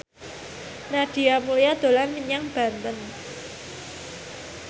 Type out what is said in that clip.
Nadia Mulya dolan menyang Banten